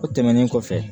O tɛmɛnen kɔfɛ